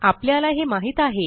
आपल्याला हे माहित आहे